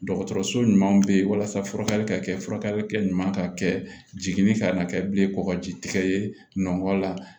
Dɔgɔtɔrɔso ɲuman bɛ yen walasa furakɛli ka kɛ furakɛli ka kɛ jiginni fɛ ka na kɛ bilen kɔkɔji tigɛ ye nɔkɔ la